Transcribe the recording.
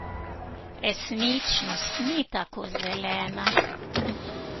Resničnost ni tako zelena.